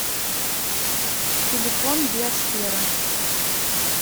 телефон биосфера